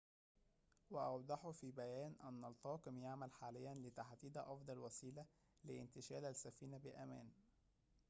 وأوضحوا في بيان أن الطاقم يعمل حاليًا لتحديد أفضل وسيلة لانتشال السفينة بأمان